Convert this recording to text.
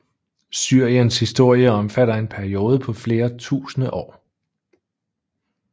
Syriens historie omfatter en periode på flere tusinde år